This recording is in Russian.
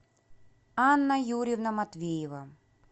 анна юрьевна матвеева